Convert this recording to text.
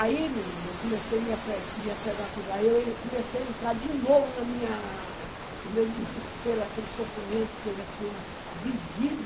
Aí, menina, eu comecei a me apre me apegar, aí eu comecei a entrar de novo na minha no meu desespero, naquele sofrimento que eu já tinha vivido.